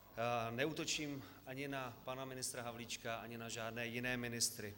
Neútočím ani na pana ministra Havlíčka, ani na žádné jiné ministry.